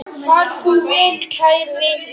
Far þú vel, kæri vinur.